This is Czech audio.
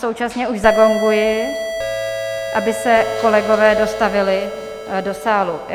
Současně už zagonguji, aby se kolegové dostavili do sálu.